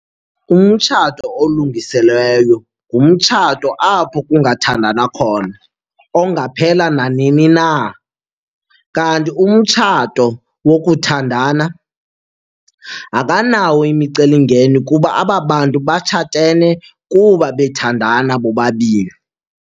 Umtshato olungiselweyo ngumtshato apho kungathandwana khona ongaphela nanini na, kanti umtshato wokuthandana akanawo imicelimngeni kuba aba bantu batshatene kuba bethandana bobabini.